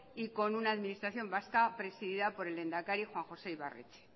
y con una administración vasca presidida por el lehendakari juan josé ibarretxe